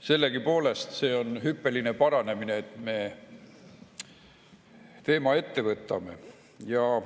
Sellegipoolest see on hüppeline paranemine, et me teema ette võtame.